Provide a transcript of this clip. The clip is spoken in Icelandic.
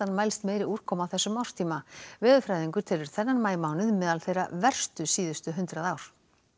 mælst meiri úrkoma á þessum árstíma veðurfræðingur telur þennan maímánuð meðal þeirra verstu síðustu hundrað ár